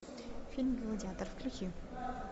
фильм гладиатор включи